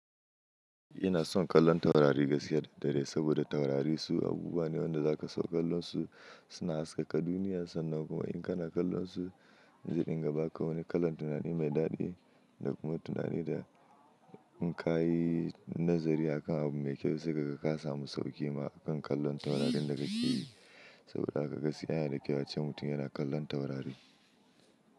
Ina son kallon taurari gaskiya da dare saboda taurari su abubuwa ne wanda za ka so. Kallonsu suna haskaka duniya sannan kuma in ka na kallonsu, zai dinga ba ka wani kalan tunani mai daɗi da kuma tunani da in ka yi nazari a kan abu mai kyau sai kaga ka samu sauƙi ma kan kallon taurarin da ka ke yi. Saboda haka gaskiya yana da kyau ace mutum yana kallon taurari.